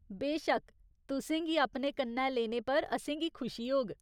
बेशक्क, तुसेंगी अपने कन्नै लेने पर असेंगी खुशी होग।